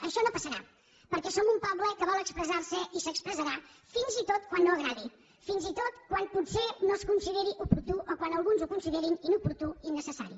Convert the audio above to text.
això no passarà perquè som un poble que vol expressar se i s’expressarà fins i tot quan no agradi fins i tot quan potser no es consideri oportú o quan alguns ho considerin inoportú i innecessari